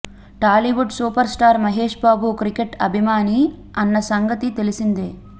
Tollywood super star Mahesh Babu cricket అభిమాని అన్న సంగతి తెలిసిందే